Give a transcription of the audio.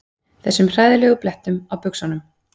Þessum hræðilegu blettum á buxunum.